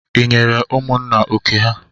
I nyere ụmụnna oké ha?